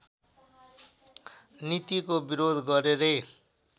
नीतिको विरोध गरेरै